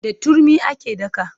Da turmi ake daka.